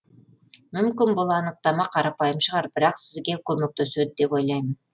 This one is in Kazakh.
мүмкін бұл анықтама қарапайым шығар бірақ сізге көмектеседі деп ойлаймын